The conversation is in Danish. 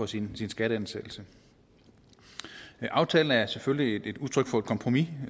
sin skatteansættelse aftalen er selvfølgelig et udtryk for et kompromis